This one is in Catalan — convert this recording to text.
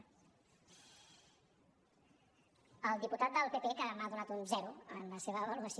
el diputat del pp que m’ha donat un zero en la seva avaluació